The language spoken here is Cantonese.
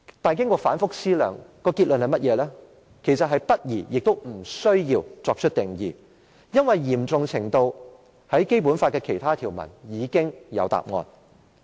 可是，經過反覆思量，所得結論是不宜也不需要作出定義，因為有關行為的嚴重程度，在《基本法》的其他條文已經有答案。